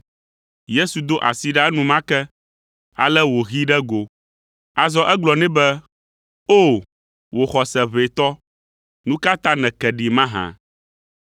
Yesu do asi ɖa enumake, eye wòhee ɖe go. Azɔ egblɔ nɛ be, “O, wò xɔse ʋɛ tɔ, nu ka ta nèke ɖi mahã?”